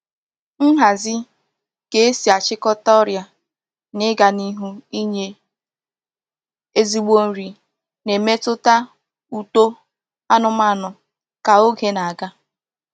Nhazi, ka e si achikota oria na iga n'ihu inye ezigbo nri na-emetuta uto anumanu ka oge na-aga.